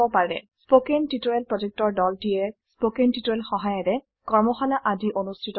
কথন শিক্ষণ প্ৰকল্পৰ দলটিয়ে কথন শিক্ষণ সহায়িকাৰে কৰ্মশালা আদি অনুষ্ঠিত কৰে